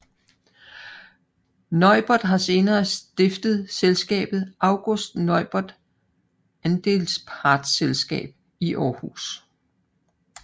Neubert har senere stiftet selskabet August Neubert Aps i Århus